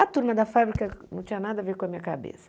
A turma da fábrica não tinha nada a ver com a minha cabeça.